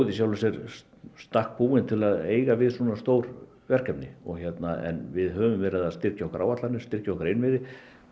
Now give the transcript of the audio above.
í sjálfu sér í stakk búin til að eiga við svona stór verkefni en við höfum verið að styrkja okkar áætlanir og styrkja okkar innviði